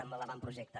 amb l’avantprojecte